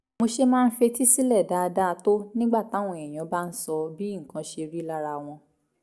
mo ṣe máa ń fetí sílẹ̀ dáadáa tó nígbà táwọn èèyàn bá ń sọ bí nǹkan ṣe rí lára wọn